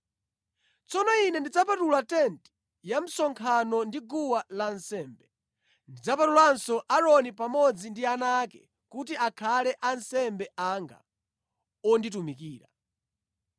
“Tsono Ine ndidzapatula tenti ya msonkhano ndi guwa lansembe. Ndidzapatulanso Aaroni pamodzi ndi ana ake kuti akhale ansembe anga onditumikira.